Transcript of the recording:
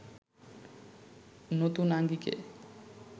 নতুন আঙ্গিকে